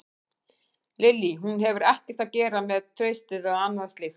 Lillý: Hún hefur ekkert að gera með traustið eða annað slíkt?